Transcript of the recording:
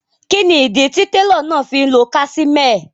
Kíni ídí tí tẹ̀ló náà fí n lọ́ casimẹ́è?